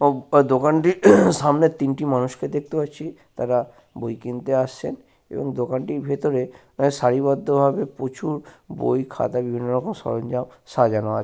দোকানটির সামনে তিনটি মানুষকে দেখতে পাচ্ছি তারা বই কিনতে আসছেন এবং দোকানটির ভেতরে অ্যা সাড়িবদ্ধভাবে প্রচুর বই খাতা বিভিন্ন রকমের সরঞ্জাম সাজানো আছে।